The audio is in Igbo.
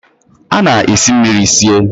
A na-esi mmiri sie